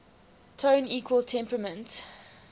tone equal temperament